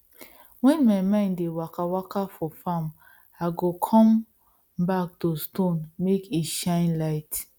when my mind dey waka waka for farm i go come back to stone make e shine light